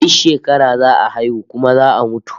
Duk shekara za a haihu kuma za a mutu